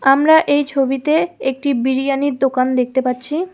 আমরা এই ছবিতে একটি বিরিয়ানির দোকান দেখতে পাচ্ছি।